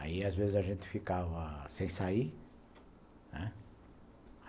Aí às vezes a gente ficava sem sair, né.